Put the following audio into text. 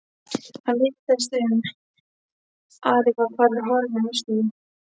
Hann litaðist um, Ari var farinn, horfinn úr veislunni.